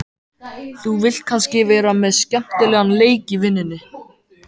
Þú vilt kannski vera með skemmtilegan leik í vinnunni?